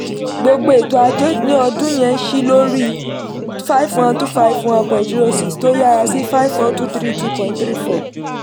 gbogbo ètò ajé ní ọdún yẹn ṣí lórí five one two five one point zero six tó yára sí five four two three two point three four